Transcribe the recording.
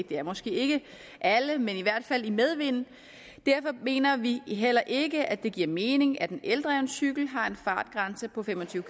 det er måske ikke alle men i hvert fald i medvind derfor mener vi heller ikke at det giver mening at en eldreven cykel har en fartgrænse på fem og tyve